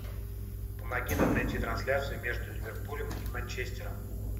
помоги нам найти трансляцию между ливерпулем и манчестером